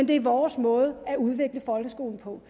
det er vores måde at udvikle folkeskolen på